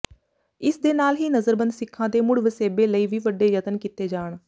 ਇਸ ਦੇ ਨਾਲ ਹੀ ਨਜ਼ਰਬੰਦ ਸਿੱਖਾਂ ਦੇ ਮੁੜ ਵਸੇਬੇ ਲਈ ਵੀ ਵੱਡੇ ਯਤਨ ਕੀਤੇ ਜਾਣ